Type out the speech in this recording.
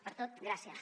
per tot gràcies